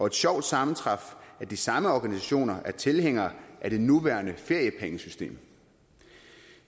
et sjovt sammentræf at de samme organisationer er tilhængere af det nuværende feriepengesystem